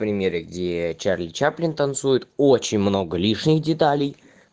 примеры где чарли чаплин танцует очень много лишних деталей